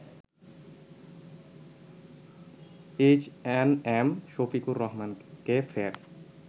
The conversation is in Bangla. এইচএনএম শফিকুর রহমানকে ফের